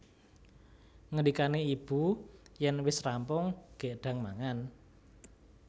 Ngendikané ibu yèn wis rampung gèk ndang mangan